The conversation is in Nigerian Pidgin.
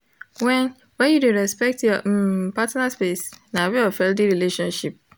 when when you de respect your um partner space na way of healthy relationship